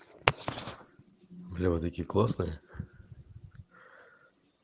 бля вы такие классные